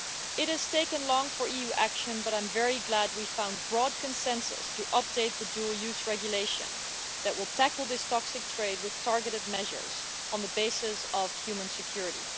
It has taken a long time for there to be EU action but I'm very glad that we found broad consensus to update the dual use regulation that will tackle this toxic trade with targeted measures on the basis of human security.